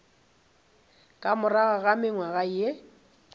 ka morago ga mengwaga ye